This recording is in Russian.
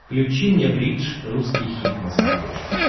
включи мне бридж русский хит на смотрешке